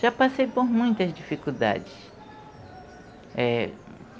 Já passei por muitas dificuldades.